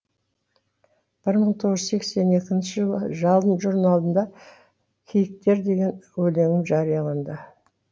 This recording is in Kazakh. бір мың тоғыз жүз сексен екінші жылы жалын журналында киіктер деген өлеңім жарияланды